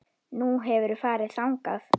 Nú, hefurðu farið þangað?